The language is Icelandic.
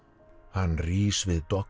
hann rís við